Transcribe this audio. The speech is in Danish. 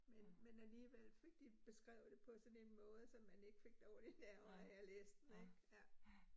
Men men alligevel fik de beskrevet det på sådan en måde, så man ikke fik dårlige nerver af at læse den ik ja